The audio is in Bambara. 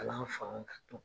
Kalan fan